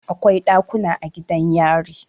Akwai ɗakuna a gidan yari.